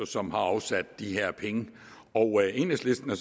som har afsat de her penge enhedslisten har